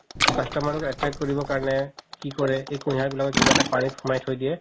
customer ক attract কৰিব কাৰণে কি কৰে এই কুহিয়াৰ বিলাকক কিবা এটা পানিত সোমাই থই দিয়ে